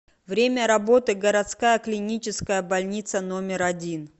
время работы городская клиническая больница номер один